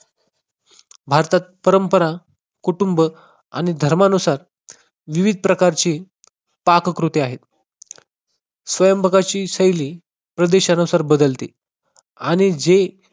भारतात परंपरा कुटुंब आणि धर्मानुसार विविध प्रकारची पाककृती आहे. स्वयंपाकाची शैली प्रदेशानुसार बदलते आणि जे